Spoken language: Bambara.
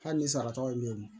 Hali ni sarata ye min ye